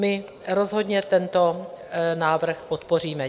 My rozhodně tento návrh podpoříme.